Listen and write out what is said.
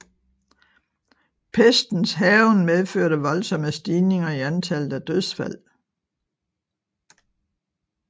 Pestens hærgen medførte voldsomme stigninger i antallet af dødfald